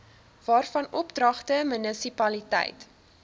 waarvan oordragte munisipaliteite